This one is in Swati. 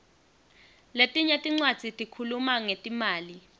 letinye tincwadzi tikhuluma ngetimali